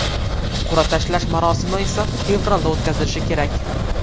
Qur’a tashlash marosimi esa fevralda o‘tkazilishi kerak.